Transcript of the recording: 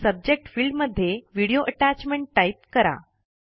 subject field मध्ये video attachment type करा